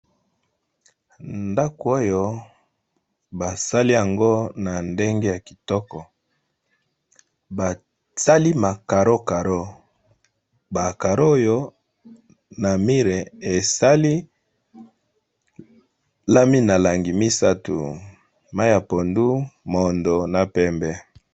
Ndaku oyo ba sali yango na ndenge ya kitoko ba sali ba carreaux. Ba carraux oyo na mur esali langi misatu, langi ya pondu, moyindo na pembe .